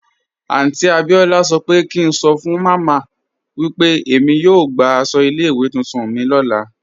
Aunty Abiola sọ́ pẹ̀ kí ǹ sọ́ fun màmá mi pe èmi yóò gbà àṣọ ilẹ̀-iwé tuntun mi lọ́lá.